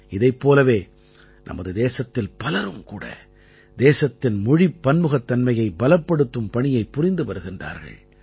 இதைப் போலவே நமது தேசத்தில் பலரும் கூட தேசத்தின் மொழிப் பன்முகத்தன்மையை பலப்படுத்தும் பணியைப் புரிந்து வருகிறார்கள்